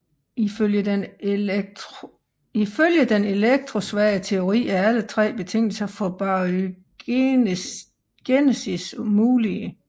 Ifølge den elektrosvage teori er alle tre betingelser for baryogenesis mulige